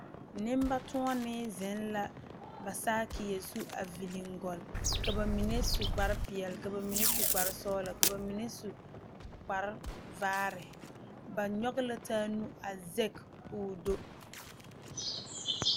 Nembatoɔnee zeŋ la ba saakie zu a viile gɔli ka ba mine su kpar peɛle ka ba mine su kpar sɔgelɔ ka ba mine su kpar vaare ba nyɔge la taa nu a sege ka o do